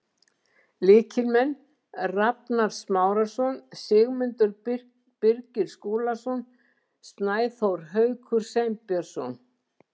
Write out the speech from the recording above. Lykilmenn: Rafnar Smárason, Sigmundur Birgir Skúlason, Snæþór Haukur Sveinbjörnsson.